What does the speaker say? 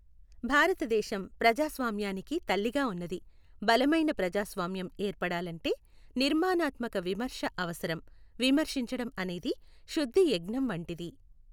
భారతదేశం ప్రజాస్వామ్యానికి తల్లిగా ఉన్నది, బలమైన ప్రజాస్వామ్యం ఏర్పడాలంటే నిర్మాణాత్మక విమర్శ అవసరం. విమర్శించడం అనేది శుద్ధి యజ్ఞం వంటిది